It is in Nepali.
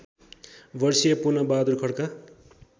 वर्षीय पूर्णबहादुर खड्का